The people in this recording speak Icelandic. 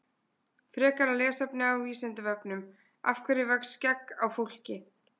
Frekara lesefni á Vísindavefnum Af hverju vex skegg á fólki?